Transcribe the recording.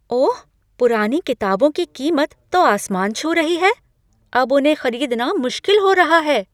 ओह! पुरानी किताबों की कीमत तो आसमान छू रही है। अब उन्हें खरीदना मुश्किल हो रहा है।